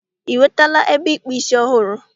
I nwetala ebe ịkpụ ísí ọhụrụ?